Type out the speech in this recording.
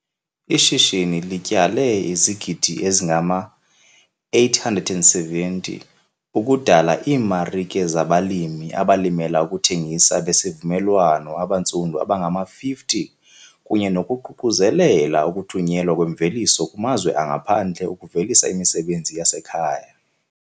"Ishishini lityale [ ]izigidi ezingama-R870 ukudala iimarike zabalimi abalimela ukuthengisa besivumelwano abantsundu abangama-50 kunye nokuququzelela ukuthunyelwa kwemveliso kumazwe angaphandle ukuvelisa imisebenzi yasekhaya."